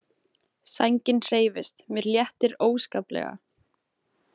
Sængin hreyfist, mér léttir óskaplega.